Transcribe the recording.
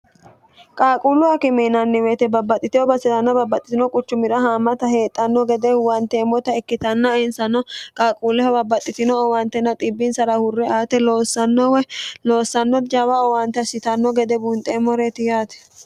qaaquullu akime yinanni weete babbaxxitino basseanna babbaxxitino quchumira haamata heedhanno gede huwanteemmota ikkitanna insano qaaquulleho babbaxxitino owantenna xbbinsara hurre aate loossanno jawa owante assitanno gede bunxeemmoreeti yaate